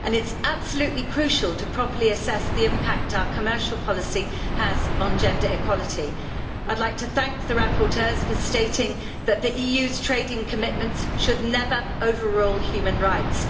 It is absolutely crucial to properly assess the impact our commercial policy has on gender equality. I would like to thank the rapporteurs for stating that the EU's trading commitments should never overrule human rights.